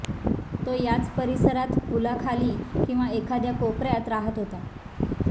तो याच परिसरात पुला खाली किंवा एखाद्या कोपऱ्यात राहत होता